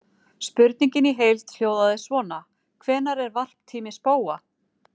Spurningin í heild hljóðaði svona: Hvenær er varptími spóa?